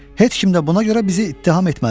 Heç kim də buna görə bizi ittiham etməz.